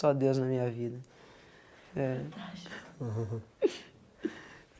Só Deus na minha vida. É fantástico